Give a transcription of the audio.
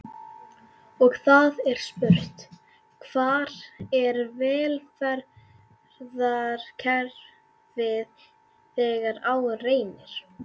Og það er spurt: Hvar er velferðarkerfið þegar á reynir?